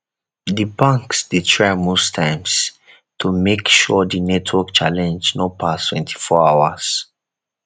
di banks dey try most times to make sure di network challenge no pass 24 hours